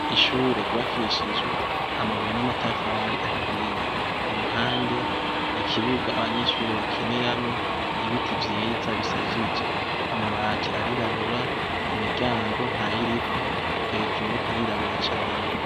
Ishure yubakishijwe amabuye n' amatafari ahiye. Iruhande, ikibuga abanyeshure bakiniramwo, ibiti vyiza bishajije. Amabati arirabura, imiryango ntayiriko, hejuru harirabura cane.